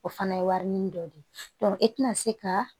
O fana ye warini dɔ de ye e tɛna se ka